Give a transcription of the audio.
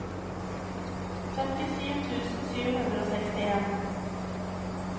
femtiåtte tusen sju hundre og sekstien